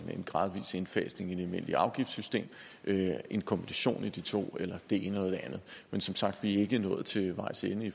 gradvis indfasning i det almindelige afgiftssystem en kombination af de to eller det ene eller det andet men som sagt er vi ikke nået til vejs ende